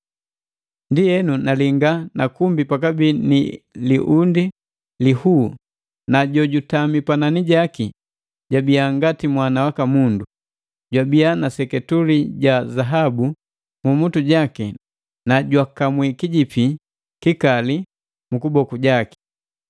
Ndienu nalinga na kumbi pakabii ni liundi lihuu na jutami panani jaki jabiya ngati Mwana waka Mundu. Jwabii na seketule ja zahabu mmutu jaki nu jukamuu kijipi kikali mu kuboku jaki.